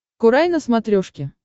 курай на смотрешке